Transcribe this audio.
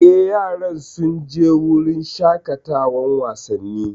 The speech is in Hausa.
Eh, yaran sun je wurin shaƙatawan wasanni